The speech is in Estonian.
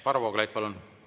Varro Vooglaid, palun!